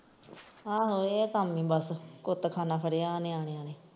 ਆਹੋ ਇਹ ਕੰਮ ਨੇ ਬਸ ਕੁੱਤਖਾਨਾ ਫ਼ੜਿਆ ਨਿਆਣਿਆਂ ਨੇ।